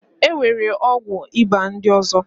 E nwere ọgwụ ịba ndị ọzọ.